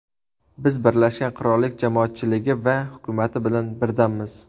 Biz Birlashgan Qirollik jamoatchiligi va hukumati bilan birdammiz”.